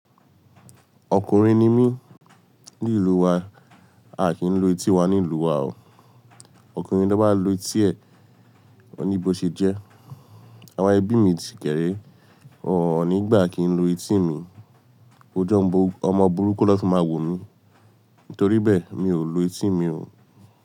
Ọkùnrin ni mí, ní ìlú wa, a kì n lu etí wá ní ìlú wa o. Ọkùnrin tó bá lu etí ẹ, ọ́ ni bó ṣe jẹ́. Àwọn ẹbí mi ti kẹ́rẹ́, won ò ní gbà kí n lu etí mi. Óju omọ̀ ọmọ burúkú naa fi máa wò mí. Nítorí bẹ́ẹ̀, mi ò lo etí mi o.